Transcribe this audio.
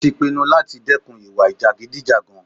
Ó tí pinnu láti dẹ́kun ìwà jàgídíjàgan.